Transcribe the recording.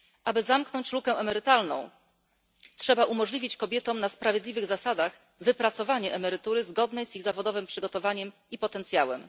Aby zamknąć lukę emerytalną, trzeba umożliwić kobietom na sprawiedliwych zasadach wypracowanie emerytury zgodnej z ich zawodowym przygotowaniem i potencjałem.